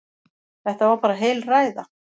Þetta var bara heil ræða.